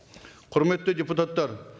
құрметті депутаттар